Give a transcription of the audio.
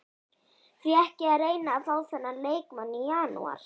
Því ekki að reyna að fá þennan leikmann í janúar?